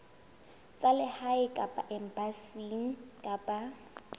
tsa lehae kapa embasing kapa